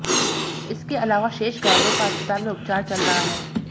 इसके अलावा शेष घायलों का अस्पताल में उपचार चल रहा है